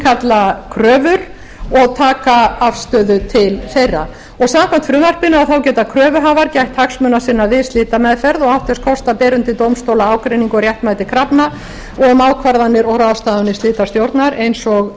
innkalla kröfur og taka afstöðu til þeirra samkvæmt frumvarpinu geta kröfuhafar gætt hagsmuna sinna við slitameðferð og átt þess kost að bera undir dómstóla ágreining um réttmæti krafna sinna og um ákvarðanir og ráðstafanir slitastjórnar eins og